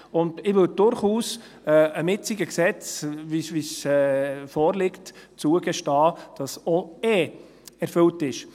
Ich würde dem jetzigen Gesetz, wie es vorliegt, durchaus zugestehen, dass auch erfüllt ist.